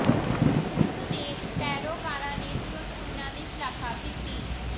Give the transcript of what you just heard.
ਉਸ ਦੇ ਪੈਰੋਕਾਰਾਂ ਨੇ ਤੁਰੰਤ ਉਨ੍ਹਾਂ ਦੀ ਸ਼ਲਾਘਾ ਕੀਤੀ